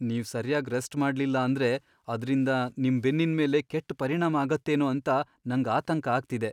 ನೀವ್ ಸರ್ಯಾಗ್ ರೆಸ್ಟ್ ಮಾಡ್ಲಿಲ್ಲ ಅಂದ್ರೆ ಅದ್ರಿಂದ ನಿಮ್ ಬೆನ್ನಿನ್ ಮೇಲೆ ಕೆಟ್ ಪರಿಣಾಮ ಆಗತ್ತೇನೋ ಅಂತ ನಂಗ್ ಆತಂಕ ಆಗ್ತಿದೆ.